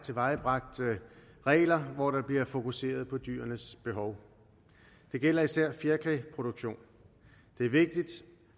tilvejebragt regler hvor der bliver fokuseret på dyrenes behov det gælder især fjerkræproduktion det er vigtigt